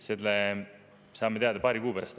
Selle saame teada alles paari kuu pärast.